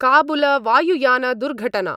काबुलवायुयानदुर्घटना